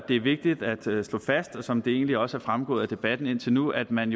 er vigtigt at slå fast som det egentlig også er fremgået af debatten indtil nu at man